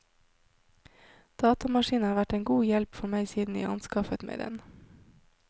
Datamaskinen har vært en god hjelp for meg siden jeg anskaffet meg den.